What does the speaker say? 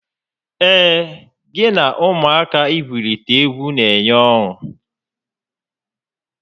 Ee, gị na ụmụaka igwurita egwu n'enye ọṅụ